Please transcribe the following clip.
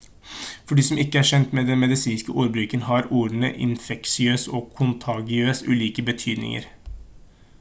for de som ikke er kjent med den medisinske ordbruken har ordene infeksiøs og kontagiøs ulike betydninger